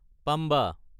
Pamba